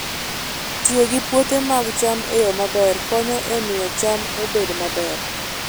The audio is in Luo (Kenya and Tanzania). Tiyo gi puothe mag cham e yo maber konyo e miyo cham obed maber.